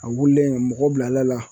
A wulilen mɔgɔ bilala